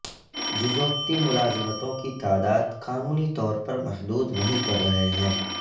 جزوقتی ملازمتوں کی تعداد قانونی طور پر محدود نہیں کر رہے ہیں